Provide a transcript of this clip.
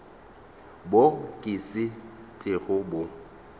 bo ka se tsoge bo